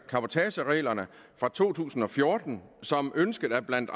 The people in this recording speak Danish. cabotagereglerne fra to tusind og fjorten som ønsket af blandt